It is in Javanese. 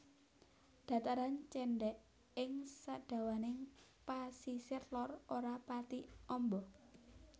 Dataran cendhèk ing sadawaning pasisir lor ora pati amba